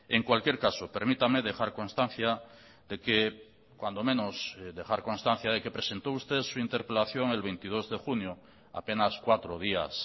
en cualquier caso permítame dejar constancia de que cuando menos dejar constancia de que presentó usted su interpelación el veintidós de junio apenas cuatro días